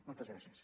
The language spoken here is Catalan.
moltes gràcies